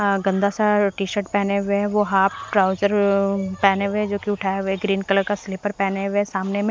हां गंदा सा टी शर्ट पहने हुए वो हाफ ट्राउजर पहने हुए जोकि उठाए हुए ग्रीन कलर का स्लीपर पहने हुए सामने में--